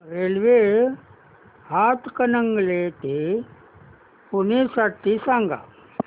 railway Hatkanangale ते पुणे साठी सांगा